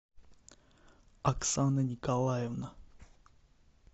оксана николаевна